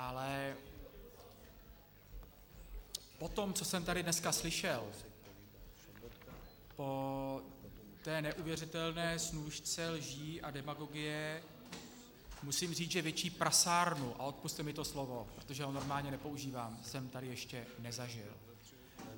Ale po tom, co jsem tady dneska slyšel, po té neuvěřitelné snůšce lží a demagogie, musím říct, že větší prasárnu, a odpusťte mi to slovo, protože ho normálně nepoužívám, jsem tady ještě nezažil.